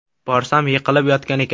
Borsam, yiqilib yotgan ekan.